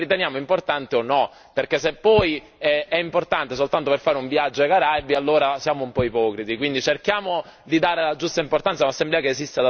Però bisognerebbe metterci d'accordo anche tra di noi e capire se la riteniamo importante o no. Se è importante soltanto per fare un viaggio ai Caraibi, allora siamo un po' ipocriti.